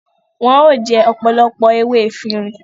Wọn o jẹ ọpọlọpọ ewé Efirin